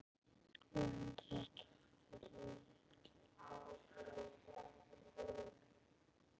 En þetta fylgir.